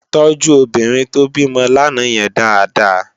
Tòjú óbìrín tó bimò làná yèn dàádàá